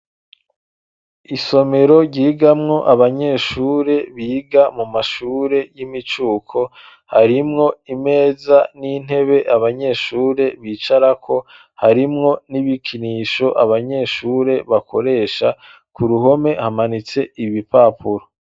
Isomero, ryigamwo abanyeshure biga mu mashure y'imicuko, harimwo imeza n'intebe, abanyeshure bicarako, harimwo n'ibikinisho abanyeshure bakoresha; ku ruhome, hamanitse ibipapuro.